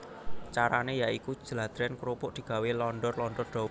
Carané ya iku jladrèn krupuk digawé londor londor dawa